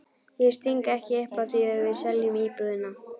Ég sting ekki upp á því að við seljum íbúðina.